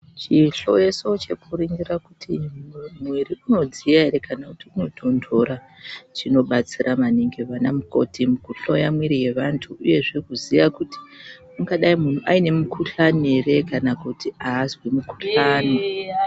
Chihloyeso chekuringira kuti mwiri unodziya ere kana kuti unotonhtora chinobatsira maningi anamukoti kuhloya mwiri nevanhtu uyezve kuziya kuti ungadai munhu ane mukhuhlani ere kana kuti aazwi mukhuhlani.